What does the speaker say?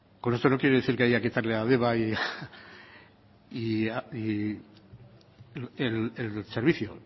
con esto no quiere decir que haya que quitarle a deba y a eibar el servicio